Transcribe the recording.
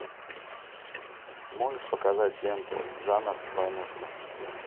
можешь показать ленту жанр войнушка